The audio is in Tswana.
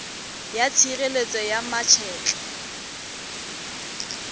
ya tshireletso ya ma etla